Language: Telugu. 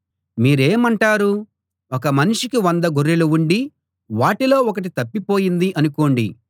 మీరేమంటారు ఒక మనిషికి వంద గొర్రెలు ఉండి వాటిలో ఒకటి తప్పిపోయింది అనుకోండి